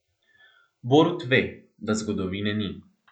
Borut ve, da zgodovine ni.